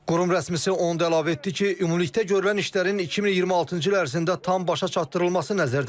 Qurum rəsmisi onu da əlavə etdi ki, ümumilikdə görülən işlərin 2026-cı il ərzində tam başa çatdırılması nəzərdə tutulub.